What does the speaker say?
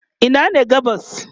Ina ne gabas?